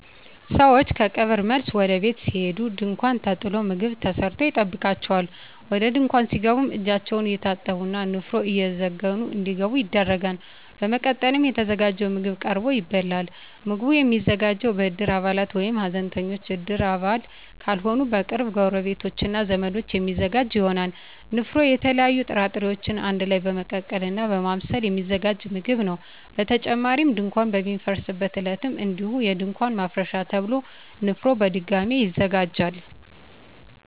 ሰወች ከቀብር መልስ ወደ ቤት ሲሄዱ ድንኳን ተጥሎ ምግብ ተሰርቶ ይጠብቃቸዋል። ወደ ድንኳን ሲገቡም እጃቸውን እየታጠቡ እና ንፍሮ እየዘገኑ እንዲገቡ ይደረጋል። በመቀጠልም የተዘጋጀው ምግብ ቀርቦ ይበላል። ምግቡ የሚዘጋጀው በእድር አባላት ወይም ሀዘንተኞች እድር አባል ካልሆኑ በቅርብ ጎረቤቶች እና ዘመዶች የሚዘጋጅ ይሆናል። ንፍሮ የተለያዩ ጥራጥሬወችን አንድ ላይ በመቀቀል እና በማብሰል የሚዘጋጅ ምግብ ነው። በተጨማሪም ድንኳን በሚፈርስበት ዕለትም እንዲሁ የድንኳን ማፍረሻ ተብሎ ንፍሮ በድጋሚ ይዘጋጃል።